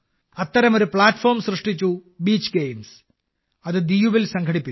അത്തരമൊരു പ്ലാറ്റ്ഫോം സൃഷ്ടിച്ചു beach games അത് ദിയുവിൽ സംഘടിപ്പിച്ചു